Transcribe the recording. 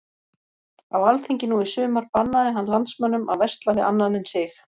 Á alþingi nú í sumar bannaði hann landsmönnum að versla við annan en sig.